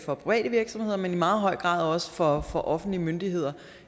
for private virksomheder men i meget høj grad også for for offentlige myndigheder